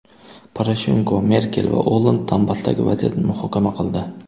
Poroshenko, Merkel va Olland Donbassdagi vaziyatni muhokama qildi.